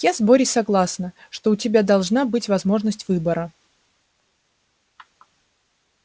я с борей согласна что у тебя должна быть возможность выбора